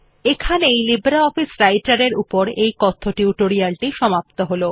এখানেই লিব্রিঅফিস রাইটের এর এই কথ্য টিউটোরিয়াল টি সমাপ্ত হল